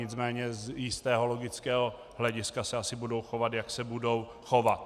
Nicméně z jistého logického hlediska se asi budou chovat, jak se budou chovat.